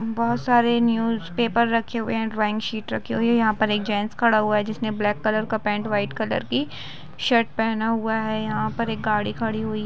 बहुत सारे newspaper रखे हुई है ड्रॉइंग शिट रखी हुई हैयहा पे एक जेन्स खड़ा हुआ हैजिसने ब्लेक कलर का पेंट वाईट कलर की शर्ट पहना हुआहै यहा पर एक गाडी खड़ी हुई है।